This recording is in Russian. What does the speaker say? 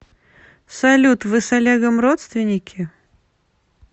салют вы с олегом родственники